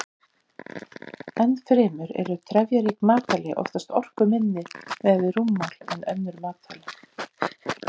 Enn fremur eru trefjarík matvæli oftast orkuminni miðað við rúmmál en önnur matvæli.